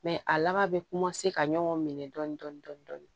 Mɛ a laban bɛ ka ɲɔgɔn minɛ dɔɔnin dɔɔnin